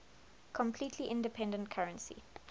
completely independent currency